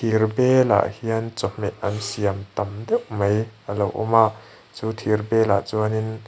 thir belah hian chawhmeh an siam tam deuh mai alo awma chu thir belah chuanin--